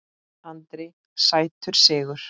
Andri: Sætur sigur?